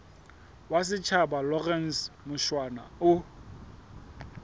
wa setjhaba lawrence mushwana o